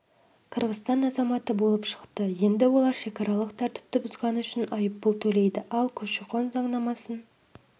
қырғызстан азаматы болып шықты енді олар шекаралық тәртіпті бұзғаны үшін айыппұл төлейді ал көші-қон заңнамасын